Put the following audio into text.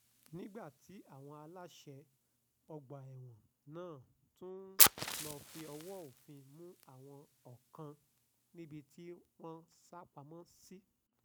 nígbà tí àwọn aláṣẹ ọgbà ẹ̀wọ̀n náà tún lọ́ọ́ fọwọ́ òfin mú àwọn kọ̀ọ̀kan níbi tí wọ́n sápamọ́ sí